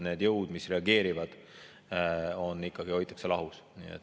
Need jõud, mis reageerivad, hoitakse ikkagi lahus.